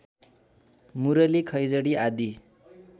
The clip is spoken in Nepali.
मुरली खैँजडी आदि